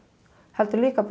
heldur líka